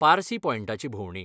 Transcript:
पारसी पॉयंटाची भोंवडी.